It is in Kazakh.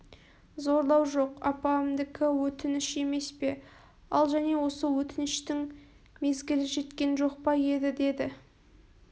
зорлау жоқ апамдікі өтініш емес пе ал және осы отініштің мезгілі жеткен жоқ па еді деді